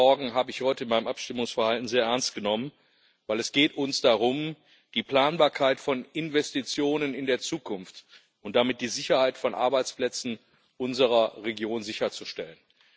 Diese Sorgen habe ich heute in meinem Abstimmungsverhalten sehr ernst genommen, weil es uns darum geht, die Planbarkeit von Investitionen in der Zukunft und damit die Sicherheit von Arbeitsplätzen unserer Region sicherzustellen.